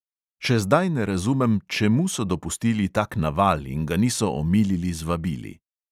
Še zdaj ne razumem, čemu so dopustili tak naval in ga niso omilili z vabili.